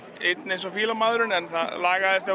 einn eins og fílamaðurinn en það lagaðist þegar